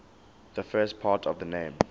the first part of the name